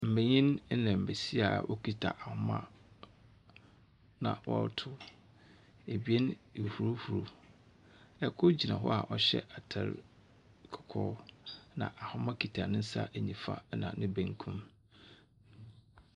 Mbenyin na mbesia a wɔkita homa na wɔretow. Ebien ehuruhuru. Kor gyina hɔ a ɔhyɛ atar kɔkɔɔ, na ahoma kita ne nsa nifa na ne benkum.